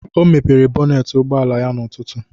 O mepere bọnet ụgbọala ya n'ụtụtụ